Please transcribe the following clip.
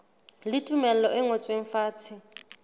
le tumello e ngotsweng fatshe